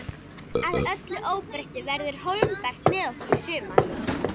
Að öllu óbreyttu verður Hólmbert með okkur í sumar.